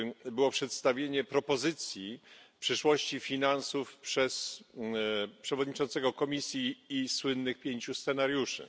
było przedstawienie propozycji przyszłości finansów przez przewodniczącego Komisji i słynnych pięciu scenariuszy.